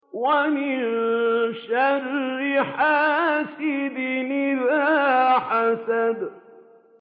وَمِن شَرِّ حَاسِدٍ إِذَا حَسَدَ